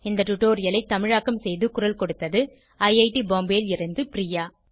இந்த டுடோரியலை தமிழாக்கம் செய்து குரல் கொடுத்தது ஐஐடி பாம்பேவில் இருந்து பிரியா